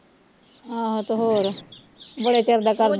ਆਹੋ ਤੇ ਹੋਰ ਬੜੇ ਚਿਰ ਦਾ ਕਰਦਾ ਹੀ